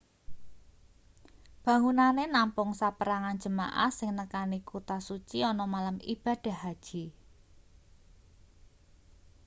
bangunane nampung saperangan jemaah sing nekani kuta suci ana malem ibadah haji